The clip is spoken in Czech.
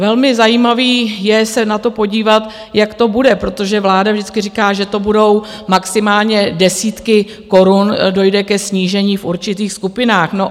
Velmi zajímavé je se na to podívat, jak to bude, protože vláda vždycky říká, že to budou maximálně desítky korun, dojde ke snížení v určitých skupinách.